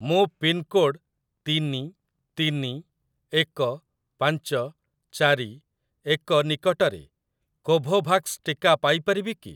ମୁଁ ପିନ୍‌କୋଡ଼୍‌ ତିନି ତିନି ଏକ ପାଞ୍ଚ ଚାରି ଏକ ନିକଟରେ କୋଭୋଭାକ୍ସ ଟିକା ପାଇ ପାରିବି କି?